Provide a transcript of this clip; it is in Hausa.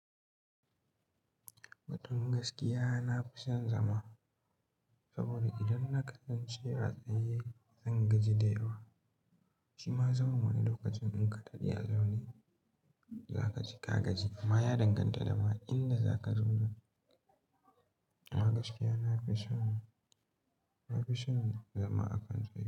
Batun gaskiya na fi son zama. Saboda idan na kasance a tsaye, zan gaji da yawa. Shima zaman wani lokacin in ka daɗe a zaune, za ka ji ka gaji. Amma ya danganta da ma inda za ka zauna. Amma gaskiya na fi son, na fi son zama a kan tsayu.